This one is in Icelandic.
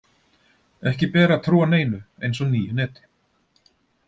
Ekki ber að trúa neinu eins og nýju neti.